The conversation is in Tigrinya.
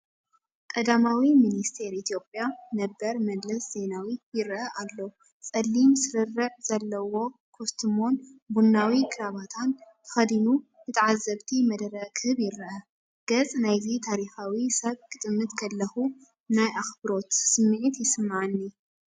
ቀዳማይ ሚኒስትር ኢትዮጵያ ነበር መለስ ዜናዊ ይረአ ኣሎ። ጸሊም ስርርዕ ዘለዎ ኮስትሞን ቡናዊ ክራቫታን ተኸዲኑ ንተዓዘብቲ መደረ ክህብ ይረአ። ገጽ ናይዚ ታሪኻዊ ሰብ ክጥምት ከለኹ ናይ ኣኽብሮት ስምዒት ይስምዓኒ።